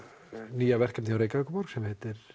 nýja verkefnið hjá Reykjavíkurborg sem heitir